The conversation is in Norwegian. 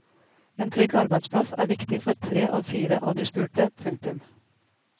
En trygg arbeidsplass er viktig for tre av fire av de spurte. punktum